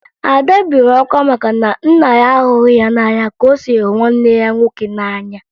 Ada bere akwa maka na nna ya ahụghị ya n'anya ka o si hụ nwanne ya nwoke n'anya